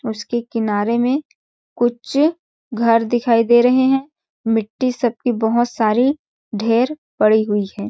उसके किनारे में कुछ घर दिखाई दे रहे है मिट्टी सब की बहुत सारी ढेर पड़ी हुई है।